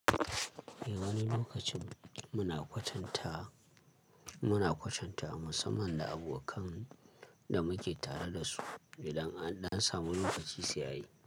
Eh wani lokacin muna kwatanta, muna kwatanta musamman da abokan da muke tare da su idan, an dan samu lokaci sai a yi.